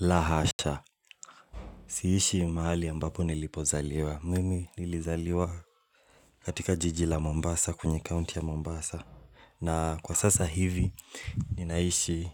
Lahasha siishi mahali mbapo nilipozaliwa. Mimi nilizaliwa katika jiji la Mombasa kwenye county ya Mombasa. Na kwa sasa hivi ninaishi